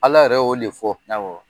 Ala yɛrɛ o le fɔ; Awɔ.